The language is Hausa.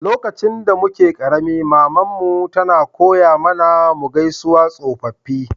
Lokacin da muke karemi, mama'n mu tana koya mana mu gaisawa tsofaffi.